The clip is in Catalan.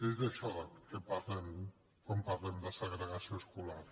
es d’això del que parlem quan parlem de segregació escolar